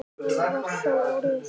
Það var þá orðið!